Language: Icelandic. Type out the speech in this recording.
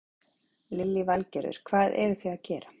Lillý Valgerður: Hvað eruð þið að gera?